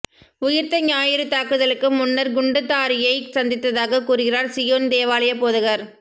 உயிர்த்த ஞாயிறு தாக்குதலுக்கு முன்னர் குண்டுதாரியை சந்தித்ததாக கூறுகிறார் சியோன் தேவாலய போதகர்